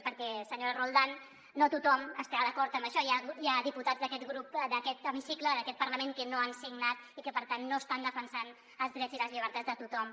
perquè senyora roldán no tothom estarà d’acord en això hi ha diputats d’aquest hemicicle d’aquest parlament que no han signat i que per tant no estan defensant els drets i les llibertats de tothom